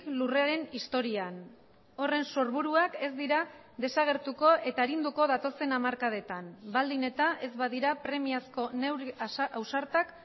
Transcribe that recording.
lurraren historian horren sorburuak ez dira desagertuko eta arinduko datozen hamarkadetan baldin eta ez badira premiazko neurri ausartak